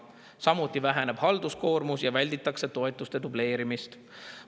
Samuti väheneb halduskoormus ja välditakse toetuste dubleerimist.